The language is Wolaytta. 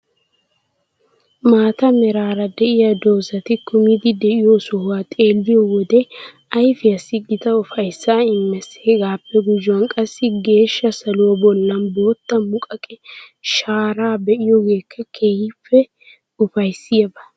Maata meraara de'iya dozati kumidi de'iyo sohoy xeelliyo wode ayfiyassi gita ufayssaa immees. Hegaappe gujuwan qassi geeshsha saluwa bollan bootta muqaqe shaaraa be'iyogeekka keehippe ufayssiyaba.